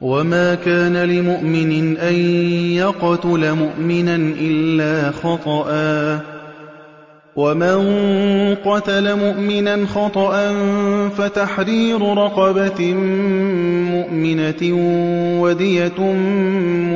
وَمَا كَانَ لِمُؤْمِنٍ أَن يَقْتُلَ مُؤْمِنًا إِلَّا خَطَأً ۚ وَمَن قَتَلَ مُؤْمِنًا خَطَأً فَتَحْرِيرُ رَقَبَةٍ مُّؤْمِنَةٍ وَدِيَةٌ